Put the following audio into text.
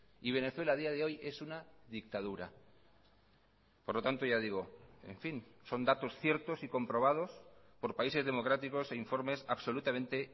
y venezuela a día de hoy es una dictadura por lo tanto ya digo en fin son datos ciertos y comprobados por países democráticos e informes absolutamente